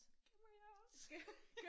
Gemmer jeg også